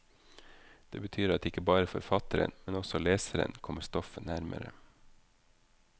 Det betyr at ikke bare forfatteren, men også leseren, kommer stoffet nærmere.